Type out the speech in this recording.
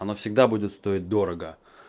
она всегда будет стоить дорого